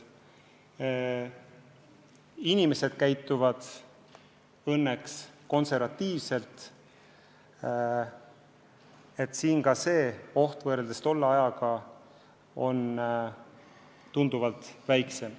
Inimesed käituvad õnneks konservatiivselt, oht on võrreldes tolle ajaga tunduvalt väiksem.